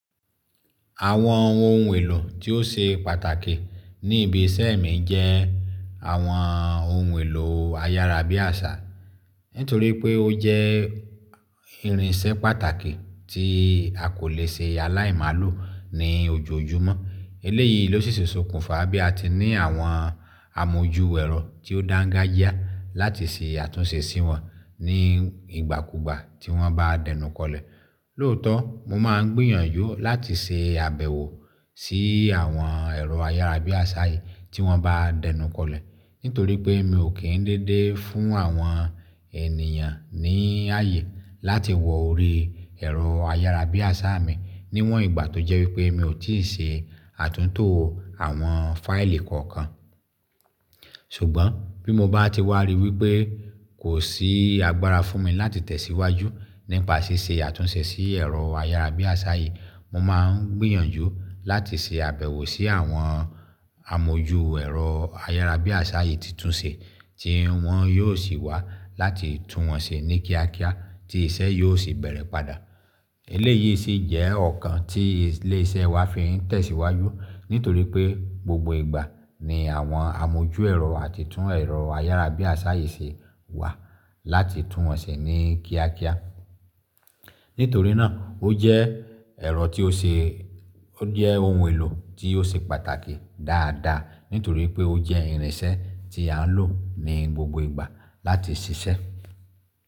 Àwọn ohun èlò tí ó ṣe pàtàkì ní ibi iṣẹ́ mi jẹ́ àwọn ohun èlò ayárabíàṣá. Nítorí pé ó jẹ́ irinṣẹ́ pàtàkì tí a kò lè ṣe aláìmálo ní ojoojúmọ́. Eléyìí ló sì sọkùnfà bí a ti ní àwọn amójú ẹ̀rọ tí ó dáńgájíá láti ṣe àtúnṣe sí wọn ní ìgbàkùgbà tí wọ́n bá dẹnukọlẹ̀. Lóòótọ́, mo máa ń gbìyànjú láti ṣe àbẹ̀wò sí àwọn ẹ̀rọ ayárabíàṣá yìí tí wọ́n bá dẹnukọlẹ̀ nítorí pé mi ò kí ń dédé fún àwọn ènìyàn ní ààyè láti wọ orí ẹ̀rọ ayárabíàṣá mi níwọ̀n ìgbà tó jẹ́ wípé mi ò tíì ṣe àtúntò àwọn fáìlì kookan. Ṣùgbọ́n bí mo bá ti wá rí wípé kò sí agbára fún mi láti tẹ̀síwájú nípa ṣíṣe àtúnṣe sí ẹ̀rọ ayárabíàṣá yìí, mo máa ń gbìyànjú láti ṣe àbẹ̀wò sí àwọn amójú ẹ̀rọ ayárabíàṣá yìí titunṣe tí wọ́n yóò sì wà láti tún wọn ṣe ní kíákíá tí iṣẹ́ yóò sì bẹ̀rẹ̀ padà. Eléyìí sì jẹ́ ọ̀kan tí ilé iṣẹ́ wa fi ń tẹ̀síwájú nítorí pé gbogbo ìgbà ni àwọn amójú ẹ̀rọ àti tún ẹ̀rọ ayárabíàṣá yìí ṣe wà láti tún wọn ṣe ní kíákíá. Nítorí náà ó jẹ́ ẹ̀rọ tí ó ṣe ó jẹ́ ohun èlò tí ó ṣe pàtàkì dáadáa nítorí pé ó jẹ́ irinṣẹ́ tí à ń lò ní gbogbo ìgbà láti ṣiṣẹ́.